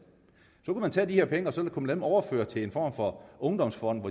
så kunne man tage de her penge og så kunne man overføre dem til en form for ungdomsfond